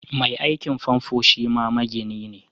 Mai aikin famfo shima magini ne